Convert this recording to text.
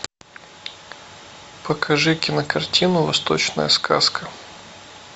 покажи кинокартину восточная сказка